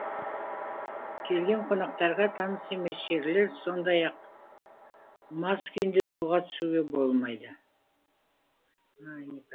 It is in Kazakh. келген қонақтарға таныс емес жерлер сондай ақ мас күйінде суға түсуге болмайды